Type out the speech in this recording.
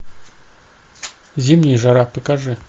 зимняя жара покажи